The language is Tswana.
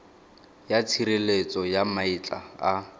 ya tshireletso ya maetla a